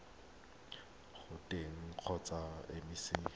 go tona kgotsa mec mo